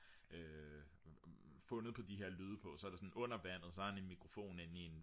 fundet på de her lyde på så er det sådan under vandet så har han en mikrofon inde i en